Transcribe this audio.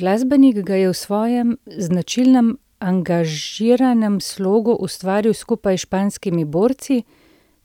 Glasbenik ga je v svojem značilnem angažiranem slogu ustvaril skupaj s Španskimi borci,